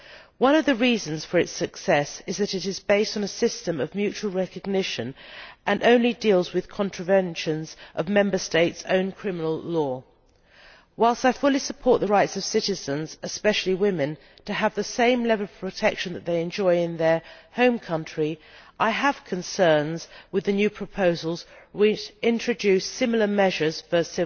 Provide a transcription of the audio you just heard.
One of the reasons for its success is that it is based on a system of mutual recognition and only deals with contraventions of Member States' own criminal law. While I fully support the rights of citizens, especially women, to have the same level of protect that they enjoy in their home country, I have concerns with the new proposals which introduce similar measures for